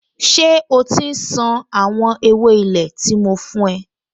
Ṣé o ti ń ṣan àwọn ewé ilé tí mo fún ẹ?